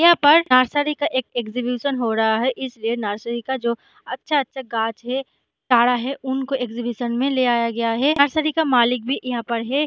यहाँ पर नर्सरी का एक एक्ज़ीब्युष्ण हो रहा है इस लिए नरसरी का जो अच्छा अच्छा गाछ है सारा है उनको एक्ज़ीब्युष्ण में ले आया गया है नरसरी का मालिक भी यहाँ पर है